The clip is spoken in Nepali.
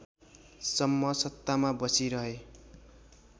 सम्म सत्तामा बसिरहे